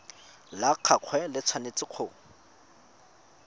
la gagwe le tshwanetse go